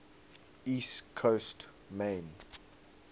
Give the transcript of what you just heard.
east coast maine